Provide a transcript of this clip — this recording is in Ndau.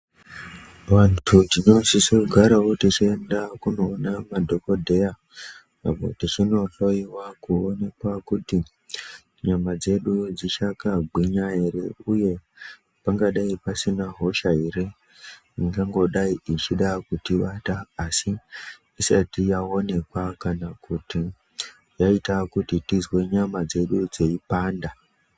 Vantu tinosise kugarawo techienda kunoona madhokodheya app tichinohloyiwa kuonekwa kuti nyama dzedu dzichakagwinya ere pangadai pasina hosha ere ingangodai ichida kutibata asi yaonekwa kana kuti yaita kuti tizwe nyama dzedi dzeyipanda.